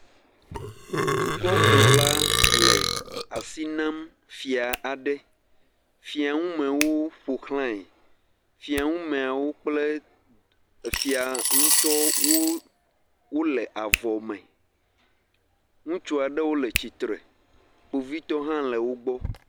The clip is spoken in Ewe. dukɔkplɔla le asi nam fia aɖe fia ŋu mewo ƒoxlãe fia ŋumɛawo kplɛ fia ŋutɔ wóle avɔ me ŋutsuɔ ɖewo le tsitsre kpovitɔwo hã le wógbɔ